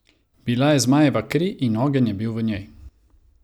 Bila je zmajeva kri in ogenj je bil v njej.